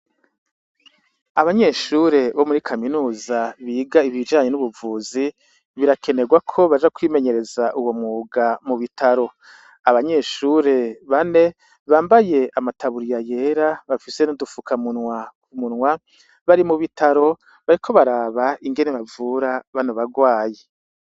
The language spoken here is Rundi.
Abanyeshure bo muri kaminuza biga ibijanye n'ubuvuzi birakenerwa ko baja kwimenyereza uwo muga mu bitaro abanyeshure bane bambaye amataburiya yera bafise no dufuka munwa ku munwa bari mu bitaro bariko baraba ingene bavura banea bagwayi.